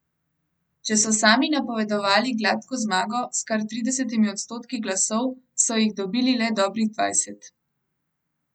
Če so sami napovedovali gladko zmago s kar tridesetimi odstotki glasov, so jih dobili le dobrih dvajset.